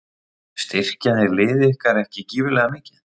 Styrkja þeir lið ykkar ekki gífurlega mikið?